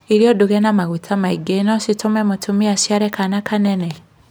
Irio nduge na maguta maingĩ no citûme mũtumia aciare kana kanene?